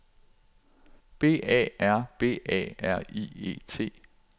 B A R B A R I E T